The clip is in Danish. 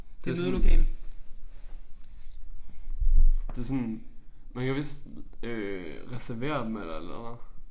Det sådan det sådan man kan vist øh reservere dem eller et eller andet